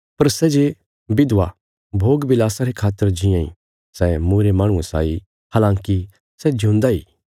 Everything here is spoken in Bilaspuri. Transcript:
पर सै जे विधवा भोग विलासा रे खातर जीआं इ सै मूईरे माहणुये साई हलाँकि सै जिऊंदा इ